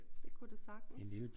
Det kunne det sagtens